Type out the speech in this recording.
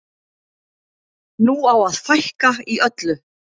Nú á að fækka í öllu.